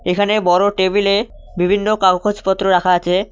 এখানে বড় টেবিলে বিভিন্ন কাউগোজ পত্র রাখা আচে।